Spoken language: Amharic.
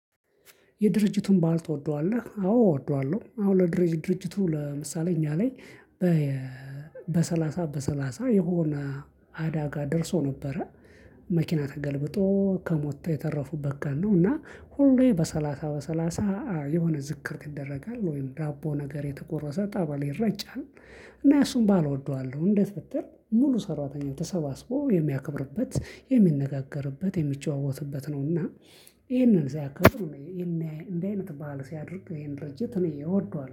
የድርጅቱን ባልት ወደዋለሁ አዎ ወደዋለሁ አሁን ለድርጅት ድርጅቱ ለምሳሌ እኛ ላይ። በሰላሳ በሰላሳ የሆነ አዳጋ ደርሶ ነበረ። መኪና ተገልብጦ ከሞተ የተረፉበት ቀን ነው እና ሁሌ በሰላሳ በሰላሳ የሆነ ዝክር ይደረጋል ወይም ዳቦ ነገር የተቆረሰ ጸበል ይረጫል። እና እሱን በዓል እወደዋለሁ። እንዴት ብትል ሙሉ ሰራተኛው ተሰባስቦ የሚያከብርበት የሚነጋገርበት የሚጨዋወትበት ነው። እና ይሄንን ሲያከብር እንደዚህ አይነት ባዓል ሲያደርግ ይሄን ድርጅት እኔ እወደዋለሁ